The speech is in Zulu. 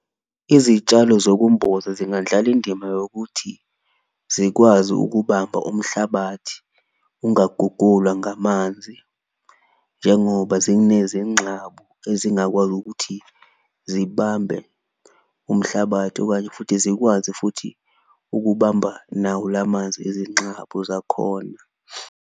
Izitshalo zokumboza zingandlala indima yokuthi zikwazi ukubamba umhlabathi ungagulwa ngamanzi njengoba zinezinxabu ezingakwazi ukuthi zibambe umhlabathi, okanye futhi zikwazi futhi ukubamba nawo la manzi ezinxabo zakhona.